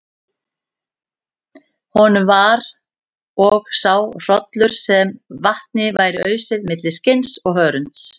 Honum var og sá hrollur sem vatni væri ausið milli skinns og hörunds.